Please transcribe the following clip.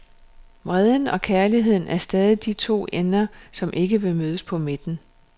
Vreden og kærligheden er stadig de to ender, som ikke vil mødes på midten.